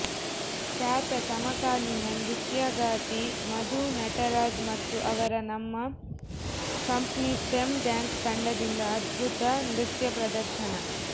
ಖ್ಯಾತ ಸಮಕಾಲೀನ ನೃತ್ಯಗಾತಿ ಮಧು ನಟರಾಜ್ ಮತ್ತು ಅವರ ನಮ್ಮ ಕಂಪ್ನಿ ಸ್ಟೆಮ್ ಡಾನ್ಸ್ ತಂಡದಿಂದ ಅದ್ಭುತ ನೃತ್ಯ ಪ್ರದರ್ಶನ